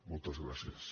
moltes gràcies